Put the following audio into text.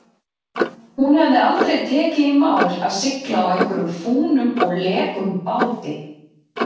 Hún hefði aldrei tekið í mál að sigla á einhverjum fúnum og lekum báti.